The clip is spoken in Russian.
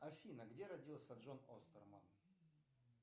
афина где родился джон остерман